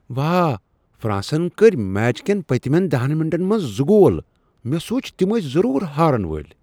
واہ! فر٘انسن کٔرۍ میچ كین پتِمین دہن مِنٹن منز زٕ گول !مے٘ سوٗنچ تِم ٲسۍ ضرور ہارن وٲلۍ ۔